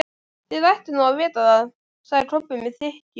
Þið ættuð nú að vita það, sagði Kobbi með þykkju.